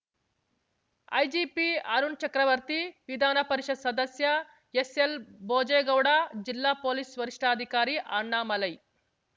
IGP Arun ಚಕ್ರವರ್ತಿ ವಿಧಾನಪರಿಷತ್‌ ಸದಸ್ಯ ಎಸ್‌ಎಲ್‌ಭೋಜೇಗೌಡ ಜಿಲ್ಲಾ ಪೊಲೀಸ್‌ ವರಿಷ್ಠಾದಿಕಾರಿ ಅಣ್ಣಾಮಲೈ